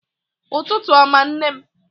Ụtụtụ ọma nne m